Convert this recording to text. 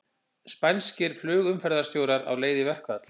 Spænskir flugumferðarstjórar á leið í verkfall